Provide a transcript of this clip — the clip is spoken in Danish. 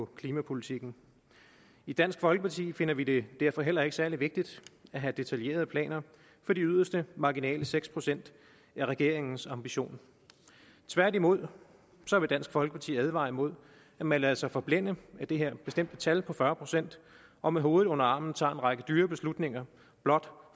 klimapolitikken i dansk folkeparti finder vi det derfor heller ikke særlig vigtigt at have detaljerede planer for de yderste marginale seks procent af regeringens ambition tværtimod vil dansk folkeparti advare imod at man lader sig forblænde af det her bestemte tal på fyrre procent og med hovedet under armen tager en række dyre beslutninger blot